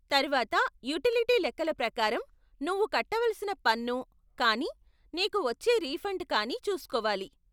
తర్వాత యూటిలిటీ లెక్కల ప్రకారం నువ్వు కట్టవలసిన పన్ను కానీ నీకు వచ్చే రిఫండ్ కానీ చూస్కోవాలి.